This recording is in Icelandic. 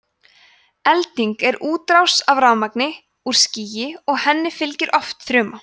elding er útrás af rafmagni úr skýi og henni fylgir oft þruma